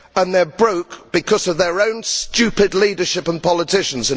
They are broke because of their own stupid leadership and politicians.